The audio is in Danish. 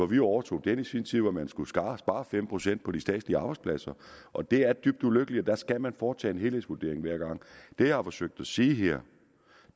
vi jo overtog i sin tid hvor man skulle spare spare fem procent på de statslige arbejdspladser og det er dybt ulykkeligt så der skal man foretage en helhedsvurdering hver gang det jeg har forsøgt at sige her